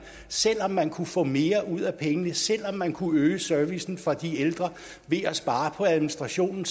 selv om man kunne få mere ud af pengene og selv om man kunne øge servicen for de ældre ved at spare på administrationen